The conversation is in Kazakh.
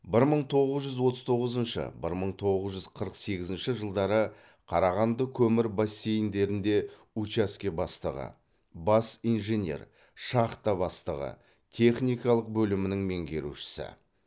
бір мың тоғыз жүз отыз тоғызыншы бір мың тоғыз жүз қырық сегізінші жылдары қарағанды көмір бассейндерінде учаске бастығы бас инженер шахта бастығы техникалық бөлімінің меңгерушісі